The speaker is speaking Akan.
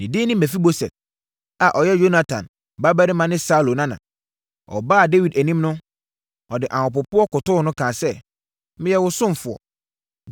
Ne din de Mefiboset, a ɔyɛ Yonatan babarima ne Saulo nana. Ɔbaa Dawid anim no, ɔde ahopopoɔ kotoo no, kaa sɛ, “Meyɛ wo ɔsomfoɔ.”